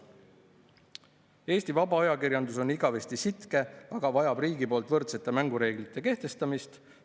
Eesti vaba ajakirjandus on igavesti sitke, aga vajab riigi poolt võrdsete mängureeglite kehtestamist.